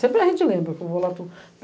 Sempre a gente lembra, que eu vou lá para o